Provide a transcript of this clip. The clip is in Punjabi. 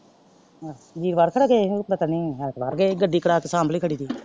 ਵੀਰਵਾਰ ਕੇਦਾ ਗਏ ਸੀ ਉਹ ਗਏ ਨੇ ਐਤਵਾਰ ਗਏ ਗੱਡੀ ਕਰਾ ਕੇ ਸੰਭਲੀ ਖੜੀ ਤੀ।